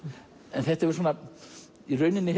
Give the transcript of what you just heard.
en þetta hefur í rauninni